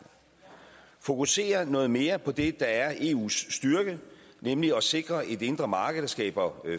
og fokusere noget mere på det der er eus styrke nemlig at sikre et indre marked der skaber